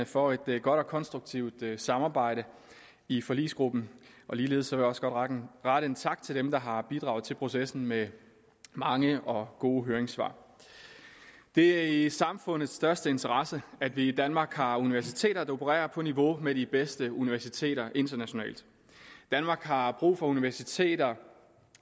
for et godt og konstruktivt samarbejde i forligskredsen ligeledes vil jeg også godt rette en tak til dem der har bidraget til processen med mange og gode høringssvar det er i samfundets største interesse at vi i danmark har universiteter der opererer på niveau med de bedste universiteter internationalt danmark har brug for universiteter